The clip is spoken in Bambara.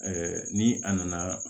ni a nana